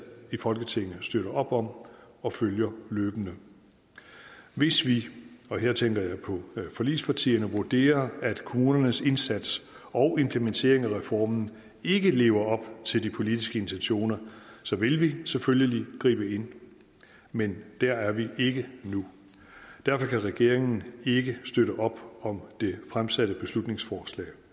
i folketinget støtter op om og følger løbende hvis vi her tænker jeg på forligspartierne vurderer at kommunernes indsats og implementeringen af reformen ikke lever op til de politiske intentioner så vil vi selvfølgelig gribe ind men der er vi ikke nu derfor kan regeringen ikke støtte op om det fremsatte beslutningsforslag